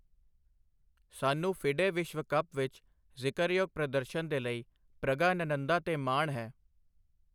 ਸਾਨੂੰ ਫਿਡੇ ਵਿਸ਼ਵ ਕੱਪ ਵਿੱਚ ਜ਼ਿਕਰਯੋਗ ਪ੍ਰਦਰਸ਼ਨ ਦੇ ਲਈ ਪ੍ਰਗਾਨੰਨਧਾ ਤੇ ਮਾਣ ਹੈ!